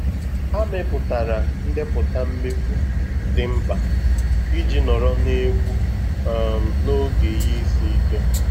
Ha mepụtara ndepụta mmefu dị mkpa iji nọrọ na egwu um n'oge ihe isi ike.